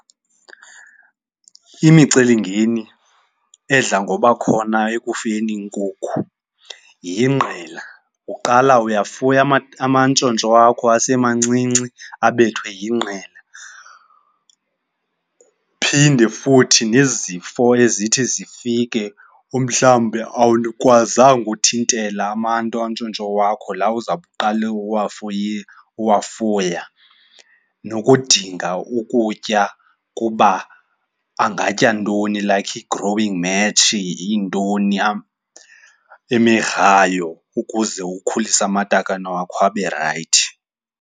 Imicelimngeni edla ngoba khona ekufuyeni iinkukhu yingqela. Uqala uyafuna amantshontsho wakho asemancinci abethwe yingqele. Kuphinde futhi nezifo ezithi zifike umhlawumbe awukwazanga uthintela amantshontsho wakho laa uzawuqala uwafuya nokudinga ukutya kuba angatya ntoni like i-growing mash, yintoni imigrayo ukuze ukhulise amatakane wakho abe rayithi.